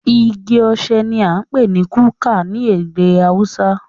Igi osè ní a ń pé ní kuka ní ède haúsá.